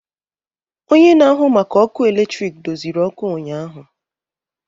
Onye na-ahụ maka ọkụ eletrik doziri ọkụ ụnyahụ.